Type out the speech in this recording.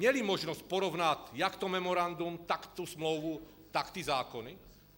Měli možnost porovnat jak to memorandum, tak tu smlouvu, tak ty zákony?